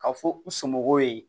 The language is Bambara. Ka fɔ u somɔgɔw ye